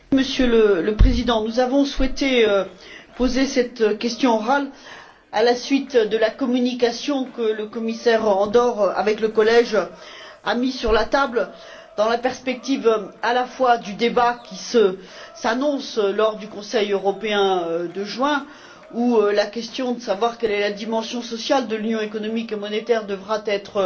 Monsieur le Président, nous avons souhaité poser cette question orale à la suite de la communication que le commissaire Andor, avec le collège, a mise sur la table dans la perspective, à la fois, du débat qui s'annonce lors du Conseil européen de juin où la question de savoir quelle est la dimension sociale de l'Union économique et monétaire devra être